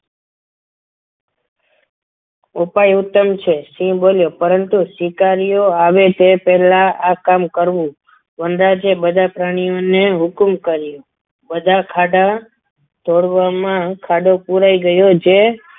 ઉપાડ ઉત્તમ છે સિંહ બોલ્યો પરંતુ સ્વીકાર્યો આવે તે પહેલા આ કામ કરવું વનરાજે બધા પ્રાણીઓને હુકમ કર્યો બધા ખાડા તોડવામાં ખાડો પુરાઈ ગયો છે.